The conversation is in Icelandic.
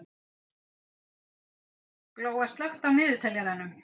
Glóa, slökktu á niðurteljaranum.